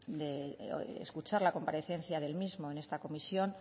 de escuchar la comparecencia del mismo en esta comisión